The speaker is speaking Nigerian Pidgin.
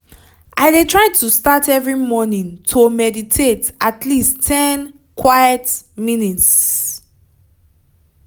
i de try to start every morning to meditate at least ten quite minutes.